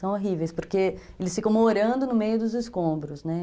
São horríveis, porque eles ficam morando no meio dos escombros, né.